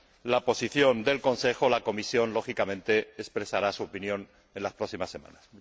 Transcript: la posición del Consejo, la Comisión, lógicamente, expresará su opinión en las próximas semanas.